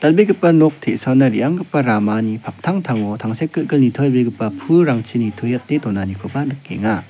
dak·begipa nok te·saona re·anggipa ramani paktangtango tangsekgilgil nitobegipa pulrangchi nitoete donanikoba nikenga.